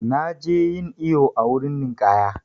Na je yin iyo a wurin ninƙaya.